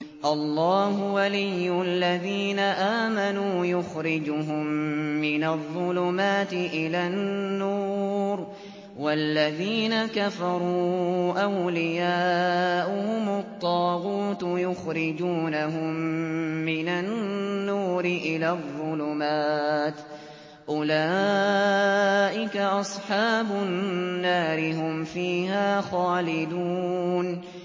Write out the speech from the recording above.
اللَّهُ وَلِيُّ الَّذِينَ آمَنُوا يُخْرِجُهُم مِّنَ الظُّلُمَاتِ إِلَى النُّورِ ۖ وَالَّذِينَ كَفَرُوا أَوْلِيَاؤُهُمُ الطَّاغُوتُ يُخْرِجُونَهُم مِّنَ النُّورِ إِلَى الظُّلُمَاتِ ۗ أُولَٰئِكَ أَصْحَابُ النَّارِ ۖ هُمْ فِيهَا خَالِدُونَ